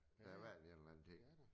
Der har været et eller andet dér